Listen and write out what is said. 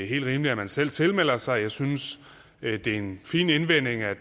helt rimeligt at man selv tilmelder sig jeg synes det er en fin indvending at